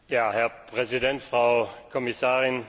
Herr Präsident, Frau Kommissarin!